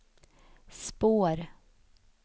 spår